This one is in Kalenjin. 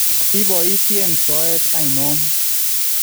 Ipoisheen soeet ainon?